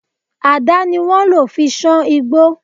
Àdá ni wọ́n lò fi sán igbó